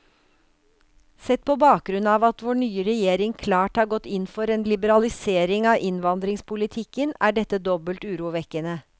Sett på bakgrunn av at vår nye regjering klart har gått inn for en liberalisering av innvandringspolitikken, er dette dobbelt urovekkende.